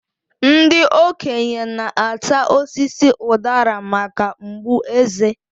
Ndị okenye na-ata osisi udara maka mgbu eze.